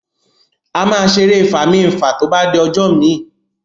Ama ṣe èrè Fami-nfa to bá di ojó mí